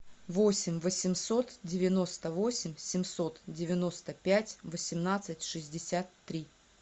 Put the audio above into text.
восемь восемьсот девяносто восемь семьсот девяносто пять восемнадцать шестьдесят три